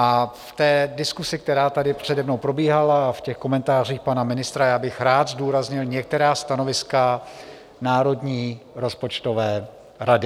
A v té diskusi, která tady přede mnou probíhala, a v těch komentářích pana ministra, já bych rád zdůraznil některá stanoviska Národní rozpočtové rady.